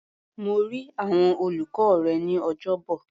Mo rí àwọn olùkọ́ rẹ ní Ọjọ́bọ̀.